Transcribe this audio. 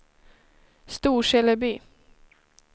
Storseleby